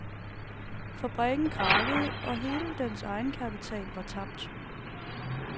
Fabrikken krakkede og hele dens egenkapital var tabt.